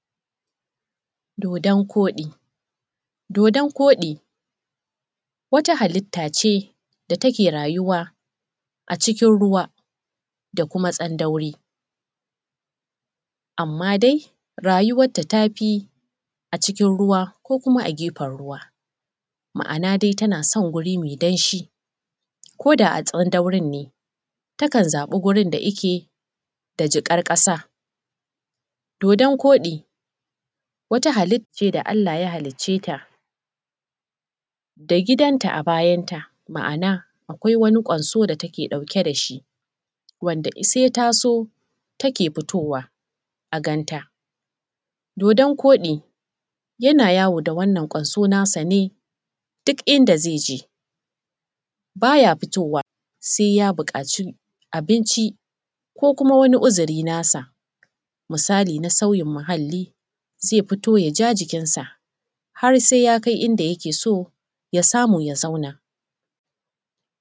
Dodon koɗi dodon koɗi wata halitta ce da take rayuwa a cikin ruwa, da kuma tsandauri. Amma dai, rayuwanta ta fi a cikin ruwa, ko kuma a gefen ruwa, ma-ana dai tana son wuri mai danshi, ko da a tsandaurin ne, ta kan zaɓa wurin da yake ne da giƙar ƙaasa. Dodon koɗi wata halitta ce da Allah ya halicce ta, da gidan ta a bayanta. Ma-ana, akwai wani ƙwansu da take ɗauke da shi, wanda se ta so take fitowa a gabanta. Dodon koɗi yana yawo ne da wannan ƙwoso nasa ne, duk ida ze je, ba ya fitowa se ya buƙaci abinci, ko kuma wani uzuri nasa misali na sauyin muhalli ze fito, ya ja jikin sa, har se ya kai inda yake so ya samu ya zauna.